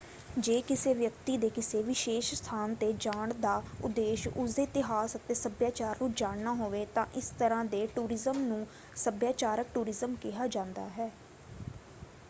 ਜੇ ਕਿਸੇ ਵਿਅਕਤੀ ਦੇ ਕਿਸੇ ਵਿਸ਼ੇਸ਼ ਸਥਾਨ 'ਤੇ ਜਾਣ ਦਾ ਉਦੇਸ਼ ਉਸਦੇ ਇਤਿਹਾਸ ਅਤੇ ਸੱਭਿਆਚਾਰ ਨੂੰ ਜਾਣਨਾ ਹੋਵੇ ਤਾਂ ਇਸ ਤਰ੍ਹਾਂ ਦੇ ਟੂਰਿਜ਼ਮ ਨੂੰ ਸੱਭਿਆਚਾਰਕ ਟੂਰਿਜ਼ਮ ਕਿਹਾ ਜਾਂਦਾ ਹੈ।